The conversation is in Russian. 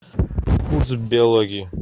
курс биологии